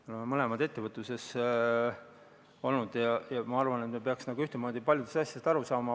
Me mõlemad oleme ettevõtluses olnud ja ma arvan, et me peaksime ühtmoodi paljudest asjadest aru saama.